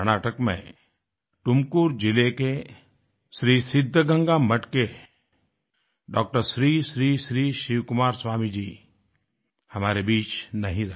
कर्नाटक में टुमकुर जिले के श्री सिद्धगंगा मठ के डॉक्टर श्री श्री श्री शिवकुमार स्वामी जी हमारे बीच नहीं रहे